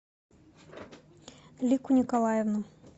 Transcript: лику николаевну